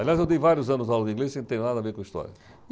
Aliás, eu dei vários anos aula de inglês, sem ter nada a ver com história.